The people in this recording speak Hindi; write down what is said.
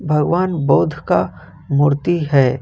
भगवान बुद्ध का मूर्ति है।